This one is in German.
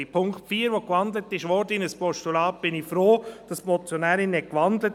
Beim Punkt 4, der in ein Postulat gewandelt wurde, bin ich froh, hat die Motionärin gewandelt.